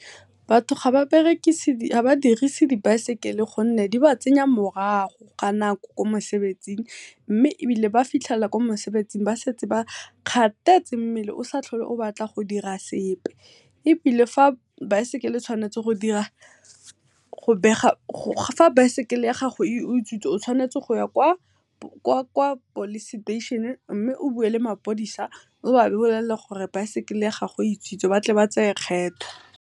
Batho ga ba dirise baesekele gonne di ba tsenya morago ga nako ko mosebetsing mme ebile ba fitlhela ko mosebetsing ba setse ba kgathetse. Mmele o sa tlhole o batla go dira sepe ebile fa baesekele e tshwanetse go dira fa baesekele e utswitswe o tshwanetse go ya kwa police station, mme o bue le maphodisa o ba bolelle gore bicycle e utswitswe gore ba kgone go tsaya kgetho.